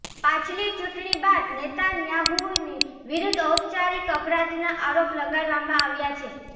પાછલી ચૂંટણી બાદ નેતાન્યાહૂની વિરુદ્ધ ઔપચારિક અપરાધના આરોપ લગાડવામાં આવ્યા છે